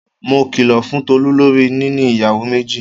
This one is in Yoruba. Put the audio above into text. Mo kìlò fún Tolú lorí níní ìyàwó méjì.